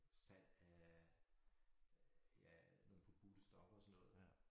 Salg af ja nogle forbudte stoffer og sådan noget